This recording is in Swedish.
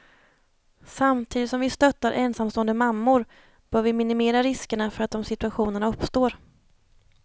Samtidigt som vi stöttar ensamstående mammor bör vi minimera riskerna för att de situationerna uppstår.